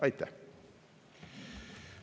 Aitäh!